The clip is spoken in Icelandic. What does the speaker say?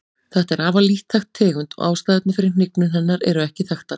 Þetta er afar lítt þekkt tegund og ástæðurnar fyrir hnignun hennar eru ekki þekktar.